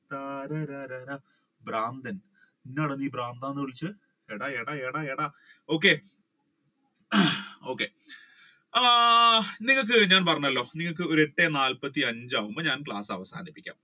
താര ര ര പ്രാന്തൻ എന്താടാ എന്നെ നീ പ്രാന്തൻ എന്ന് വിളിച്ച എടാ എടാ എടാ okay അഹ് okay ആഹ് നിങ്ങൾക്ക് ഞാൻ പറഞ്ഞല്ലോ നിങ്ങൾക്ക് ഒരു എട്ട് നാല്പത്തി അഞ്ച് ആകുമ്പോ ഞാൻ ക്ലാസ് അവസാനിപ്പിക്കാം.